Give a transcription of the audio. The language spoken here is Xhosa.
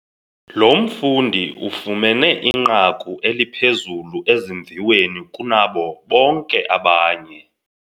Lo mfundi ufumene inqaku eliphezulu ezimviweni kunabo bonke abanye.